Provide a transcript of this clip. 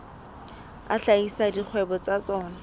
a hlahisa dikgwebo tsa tsona